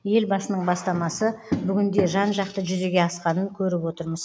елбасының бастамасы бүгінде жан жақты жүзеге асқанын көріп отырмыз